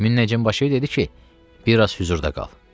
Münnəcim başı dedi ki, biraz hüzurda qal.